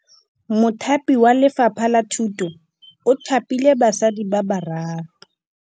Mothapi wa Lefapha la Thutô o thapile basadi ba ba raro.